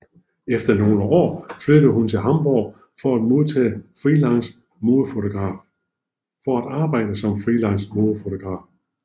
Efter nogle år flyttede hun til Hamburg for at arbejde som freelance modefotograf